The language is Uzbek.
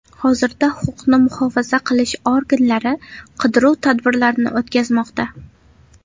Hozirda huquqni muhofaza qilish organlari qidiruv tadbirlarini o‘tkazmoqda.